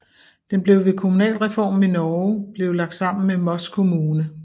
Den blev ved kommunalreformen i Norge blev lagt sammen med Moss kommune